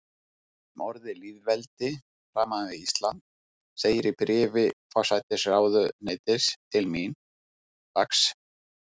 Um orðið lýðveldi, framan við Ísland, segir í bréfi forsætisráðuneytis til mín, dags.